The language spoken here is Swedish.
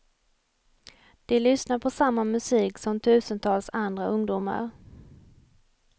De lyssnar på samma musik som tusentals andra ungdomar.